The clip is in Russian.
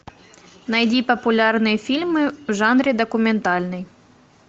найди популярные фильмы в жанре документальный